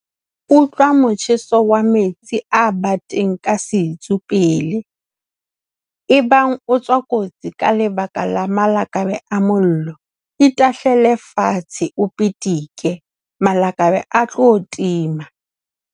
Utlwa motjheso wa metsi a bateng ka setsu pele. Ebang o tswa kotsi ka lebaka la malakabe a mollo, itahlele fatshe o pitike, malakabe a tlo tima.